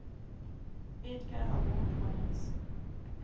edgar award winners